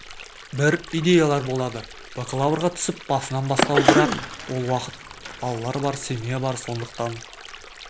бір идеялар болады бакалаврға түсіп басынан бастау бірақ ол уақыт балалар бар семья бар сондықтан